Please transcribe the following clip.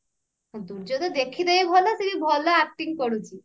ଦୂର୍ଗା ଟା ଦେଖିତେଇ ଭଲ ଆଉ ଭଲ acting କରୁଛି